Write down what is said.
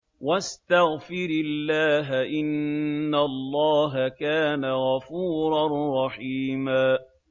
وَاسْتَغْفِرِ اللَّهَ ۖ إِنَّ اللَّهَ كَانَ غَفُورًا رَّحِيمًا